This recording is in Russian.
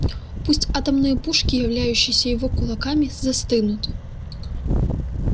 пусть атомные пушки являющиеся его кулаками застынут